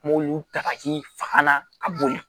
Mɔw y'u ta k'i faga ka bɔ yen